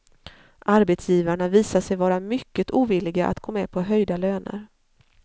Arbetsgivarna visar sig vara mycket ovilliga att gå med på höjda löner.